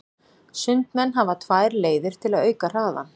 Sundmenn hafa tvær leiðir til að auka hraðann.